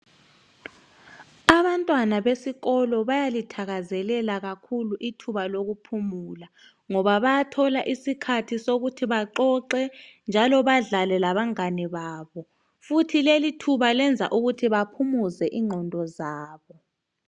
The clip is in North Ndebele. Abantwana besikolo bayalithakazelela kakhulu ithuba lokuphumula ngoba bayathola isikhathi sokuthi baxoxe njalo badlale labangane babo futhi lelithuba lenza ukuthi baphumuze ingqondo zabo.